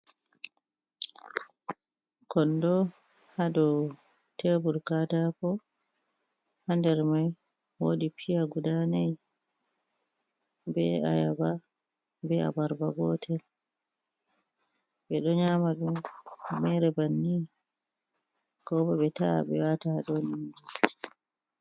Konɗo haɗau teebur katako. Ha nder mai woodi pi’a. guɗa nai be aya'aba, be abarba gotel. be do nyamadun maire banni kobo be ta'a be wata ha dau indu.